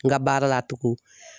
N ka baara la tugun